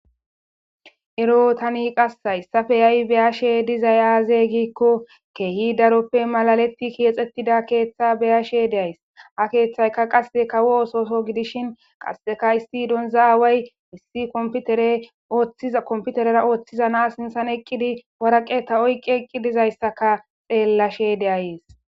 ero tani qassa issafe yay beyashe dizay aazey giikko keehi daroppe malaletti keexettida keeththa beyashe deays ha keeththayka qasse kawo ososo gidishin qasseka isti donza aaway issi komputere ooththiza komputerera ooththiza na sinthan eqqidi waraqe ta oyqi eqqi dizayssaka xeellashe deayees